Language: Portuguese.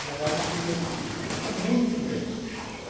A verdade é que eu ia com muito medo.